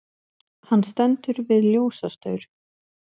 Hann stendur við ljósastaur.